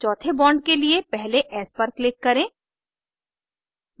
चौथे bond के लिए पहले s पर click करें